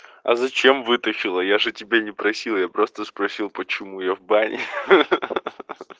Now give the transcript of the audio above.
а зачем вытащила я же тебя не просил я просто спросил почему я в бане